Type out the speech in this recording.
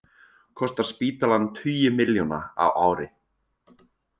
Kostar spítalann tugi milljóna á ári